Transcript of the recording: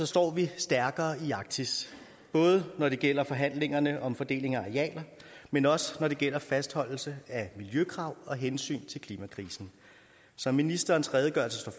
står vi stærkere i arktis både når det gælder forhandlingerne om fordeling af arealer men også når det gælder fastholdelse af miljøkrav og hensyn til klimakrisen som ministerens redegørelse slår